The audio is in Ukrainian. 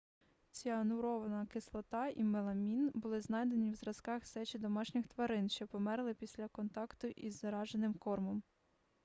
ціанурова кислота і меламін були знайдені в зразках сечі домашніх тварин що померли після контакту із зараженим кормом